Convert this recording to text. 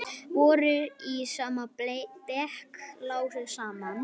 Vorum í sama bekk, lásum saman, fórum í bíó saman, notuðum meira segja sömu fötin.